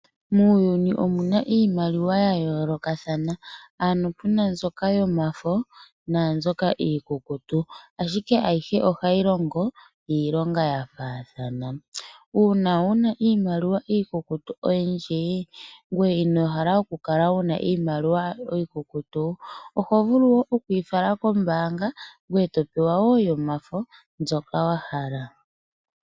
Muuyuni omuna iimaliwa ya yoolokathana, pu na iimaliwa yomafo naambyoka iikukutu ashike ayihe ohayi longo iilonga ya faathana. Uuna wuna iimaliwa iikukutu oyindji, ngoye ino hala oku kala wu na iimaliwa iikukutu, oho vulu okuyi fala kombaanga e to pewa yomafo mbyoka wa hala.